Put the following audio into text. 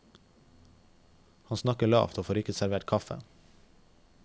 Han snakker lavt og får ikke servert kaffe.